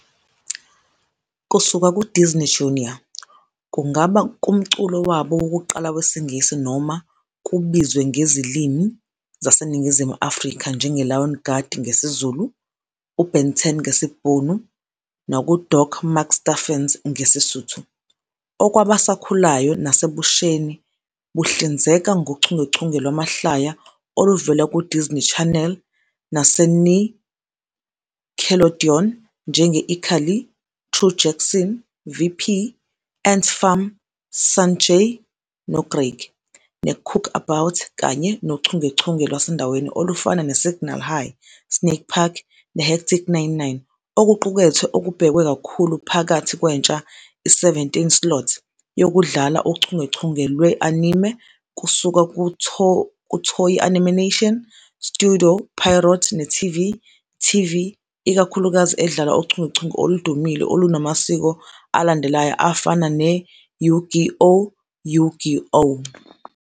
Kusuka kuDisney Junior, kungaba kumculo wabo wokuqala wesiNgisi noma kubizwe ngezilimi zaseNingizimu Afrika njengeLion Guard ngesiZulu, uBen 10 ngesiBhunu nakuDoc McStuffins ngesiSuthu. Okwabasakhulayo nasebusheni buhlinzeka ngochungechunge lwamahlaya oluvela kuDisney Channel naseNickelodeon, njenge-ICarly, True Jackson, VP, ANT Farm, Sanjay noCraig, neCookabout, kanye nochungechunge lwasendaweni olufana neSignal High, Snake Park neHectic Nine-9. Okuqukethwe okubhekwe kakhulu phakathi kwentsha i-17:00 slot, yokudlala uchungechunge lwe-anime kusuka kuToei Animation, Studio Pierrot neTV TV, ikakhulukazi edlala uchungechunge oludumile olunamasiko alandelayo afana ne- Yu-Gi-Oh!, Yu-Gi-Oh!